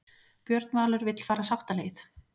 Björn Valur vill fara sáttaleið